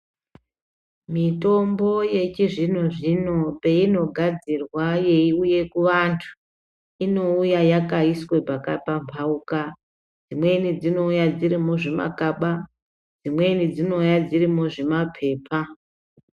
Mitombo yechizvino zvino peinogadzirwa yeiuye kuvantu inouya yakaiswe pakapambauka imweni dzinouya dziri muzvimakaba imweni dzinouya dziri muzvimapepa.